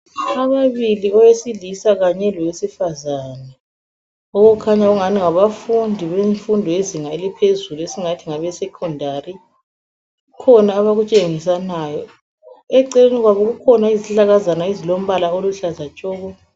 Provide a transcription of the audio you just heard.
Ababili owesilisa kanye lowesifazana, okukhanya ngani ngabafundi bemfundo yezinga eliphezulu esingathi ngabe Secondary. Kukhona abakutshengisanayo, eceleni kwabo kukhona izihlahlakazana ezilombala oluhlaza tshoko.